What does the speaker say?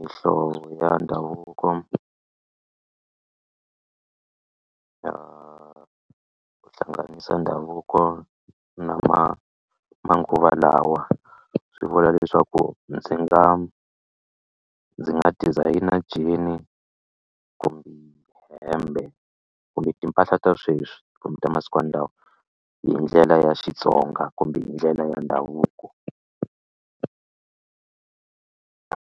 mihlovo ya ndhavuko ku hlanganisa ndhavuko na ma manguva lawa swi vula leswaku ndzi nga ndzi nga dizayina jean kumbe hembe kumbe timpahla ta sweswi kumbe ta masiku ya hi ndlela ya Xitsonga kumbe hi ndlela ya ndhavuko.